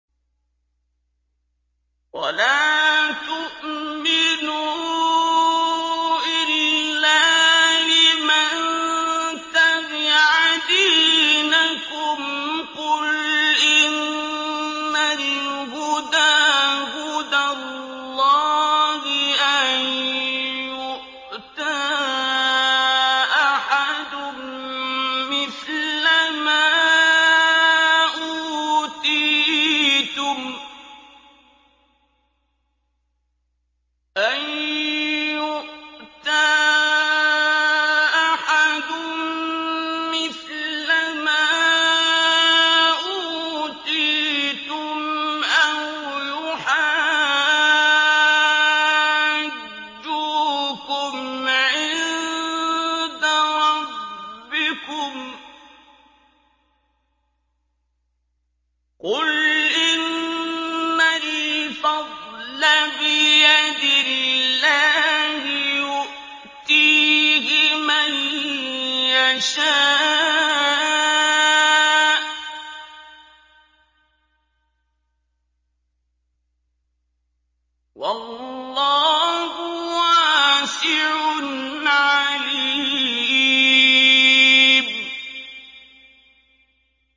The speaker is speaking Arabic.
وَلَا تُؤْمِنُوا إِلَّا لِمَن تَبِعَ دِينَكُمْ قُلْ إِنَّ الْهُدَىٰ هُدَى اللَّهِ أَن يُؤْتَىٰ أَحَدٌ مِّثْلَ مَا أُوتِيتُمْ أَوْ يُحَاجُّوكُمْ عِندَ رَبِّكُمْ ۗ قُلْ إِنَّ الْفَضْلَ بِيَدِ اللَّهِ يُؤْتِيهِ مَن يَشَاءُ ۗ وَاللَّهُ وَاسِعٌ عَلِيمٌ